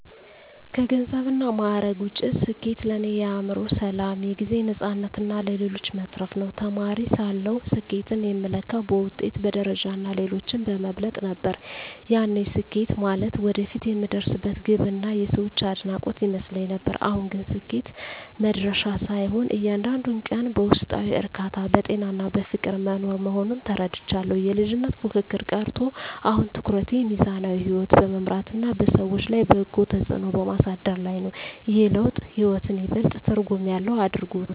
ከገንዘብና ማዕረግ ውጭ፣ ስኬት ለእኔ የአእምሮ ሰላም፣ የጊዜ ነፃነትና ለሌሎች መትረፍ ነው። ተማሪ ሳለሁ ስኬትን የምለካው በውጤት፣ በደረጃና ሌሎችን በመብለጥ ነበር፤ ያኔ ስኬት ማለት ወደፊት የምደርስበት ግብና የሰዎች አድናቆት ይመስለኝ ነበር። አሁን ግን ስኬት መድረሻ ሳይሆን፣ እያንዳንዱን ቀን በውስጣዊ እርካታ፣ በጤናና በፍቅር መኖር መሆኑን ተረድቻለሁ። የልጅነት ፉክክር ቀርቶ፣ አሁን ትኩረቴ ሚዛናዊ ሕይወት በመምራትና በሰዎች ላይ በጎ ተጽዕኖ በማሳደር ላይ ነው። ይህ ለውጥ ሕይወትን ይበልጥ ትርጉም ያለው አድርጎታል።